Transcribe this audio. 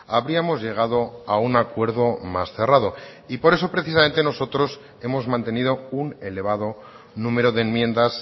habríamos llegado a un acuerdo más cerrado y por eso precisamente nosotros hemos mantenido un elevado número de enmiendas